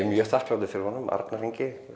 mjög þakklátur honum Arnar Ingi